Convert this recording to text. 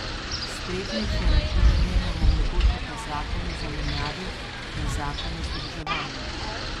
Spretnejše računanje nam omogočata zakon o zamenjavi in zakon o združevanju.